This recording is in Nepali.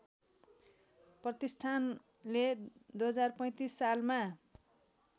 प्रतिष्ठानले २०३५ सालमा